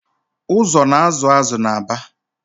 Ụzọ na-azụ azụ n’Aba